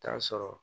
Taa sɔrɔ